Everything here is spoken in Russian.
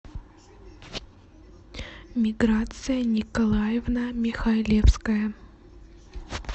миграция николаевна михайлевская